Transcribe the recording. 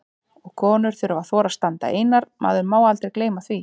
Og konur þurfa að þora að standa einar, maður má aldrei gleyma því!